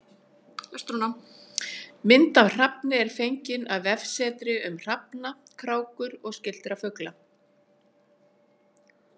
Mynd af hrafni er fengin af vefsetri um hrafna, krákur og skyldra fugla.